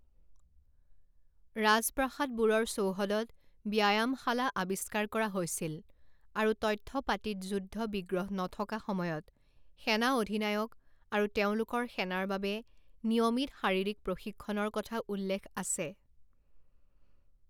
ৰাজপ্ৰাসাদবোৰৰ চৌহদত ব্যায়ামশালা আৱিষ্কাৰ কৰা হৈছিল আৰু তথ্য পাতিত যুদ্ধ বিগ্ৰহ নথকা সময়ত সেনা অধিনায়ক আৰু তেওঁলোকৰ সেনাৰ বাবে নিয়মিত শাৰীৰিক প্ৰশিক্ষণৰ কথা উল্লেখ আছে।